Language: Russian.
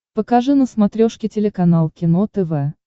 покажи на смотрешке телеканал кино тв